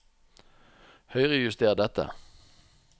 Høyrejuster dette